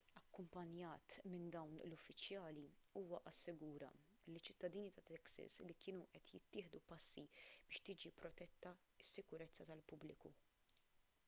akkumpanjat minn dawn l-uffiċjali huwa assigura liċ-ċittadini ta' texas li kienu qed jittieħdu passi biex tiġi protetta s-sikurezza tal-pubbliku